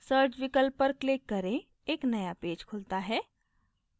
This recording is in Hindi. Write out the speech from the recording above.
search विकल्प पर click करें एक नया पेज खुलता है